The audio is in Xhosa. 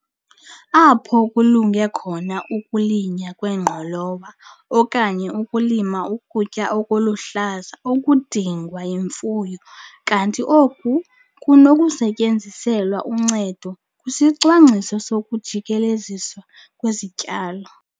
Apho kulunge khona ukulinywa kwengqolowa, okanye ukulima ukutya okuluhlaza okudingwa yimfuyo kanti oku kunokusetyenziselwa uncedo kwisicwangciso sokujikeleziswa kwezityalo.